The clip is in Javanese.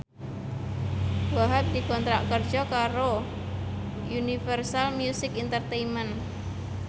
Wahhab dikontrak kerja karo Universal Music Entertainment